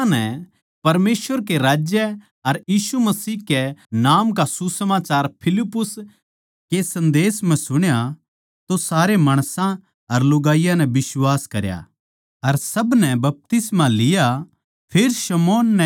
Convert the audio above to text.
पर जिब माणसां नै परमेसवर के राज्य अर यीशु मसीह के नाम का सुसमाचार फिलिप्पुस के संदेस म्ह सुण्या तो सारे माणसां अर लुगाईयाँ नै बिश्वास करया अर सब नै बपतिस्मा ले लिया